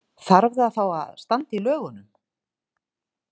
Þarf það þá að standa í lögunum?